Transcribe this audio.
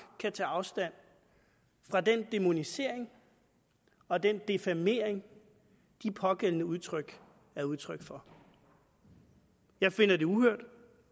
afstand fra den dæmonisering og den defamering de pågældende udtryk er udtryk for jeg finder det uhørt